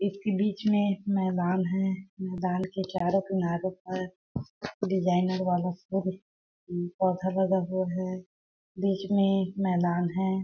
इसके बिच मे मैदान है मैदान के चारो किनारे पर डिज़ाइनर वालस पर उम पौधा लगा हुआ है बिच मे एक मैदान है।